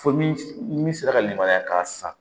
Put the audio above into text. Fo ni min sera ka libaraya k'a san